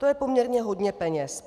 To je poměrně hodně peněz.